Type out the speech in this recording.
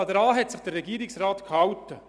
Daran hat sich der Regierungsrat gehalten.